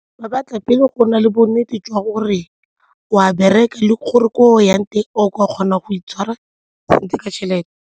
Ba batla pele go na le bonnete jwa gore o a bereka le gore ko o yang teng o kgona go itshwara sentle ka tšhelete.